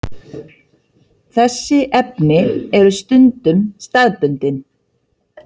Þessi efni eru stundum staðbundin.